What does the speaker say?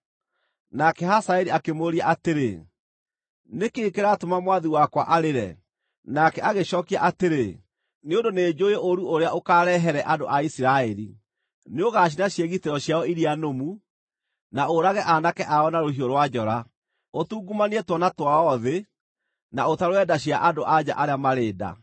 Nake Hazaeli akĩmũũria atĩrĩ, “Nĩ kĩĩ kĩratũma mwathi wakwa arĩre?” Nake agĩcookia atĩrĩ, “Nĩ ũndũ nĩnjũũĩ ũũru ũrĩa ũkaarehere andũ a Isiraeli. Nĩũgacina ciĩgitĩro ciao iria nũmu, na ũũrage aanake ao na rũhiũ rwa njora, ũtungumanie twana twao thĩ, na ũtarũre nda cia andũ-a-nja arĩa marĩ nda.”